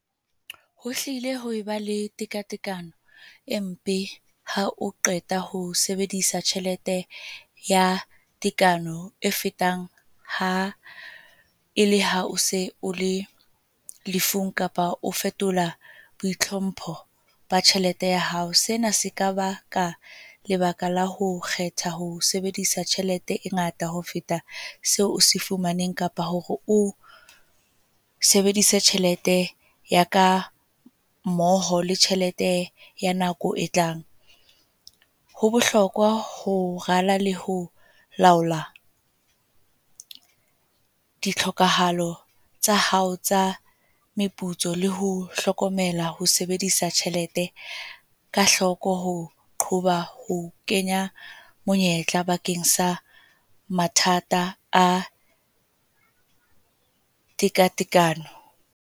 Ho hlile ho eba le tekatekano, e mpe ha o qeta ho sebedisa tjhelete ya tekano e fetang ha e le ha o se o le lefung, kapa o fetola bo itlhompho ba tjhelete ya hao. Sena se ka ba ka lebaka la ho kgetha ho sebedisa tjhelete e ngata ho feta seo se fumaneng kapa hore, o sebedise tjhelete ya ka, mmoho le tjhelete ya nako e tlang. Ho bohlokwa ho rala le ho laola, di tlhokahalo tsa hao tsa meputso. Le ho hlokomela ho sebedisa tjhelete ka hloko. Ho qoba ho kenya monyetla, bakeng sa mathata a tekatekano.